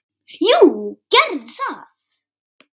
Jú, gerðu það